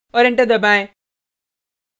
और एंटर दबाएँ